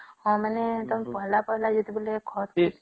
ହଁ ମାନେ ତମେ ପହଲା ପହଲା ଖତ ଦେଇକରି କରିବା